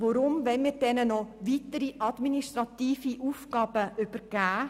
Weshalb wollen wir dieser noch weitere administrative Aufgaben übergeben?